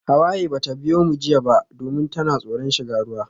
Hawaye bata biyo mu jiya ba domin tana tsoron shiga ruwa.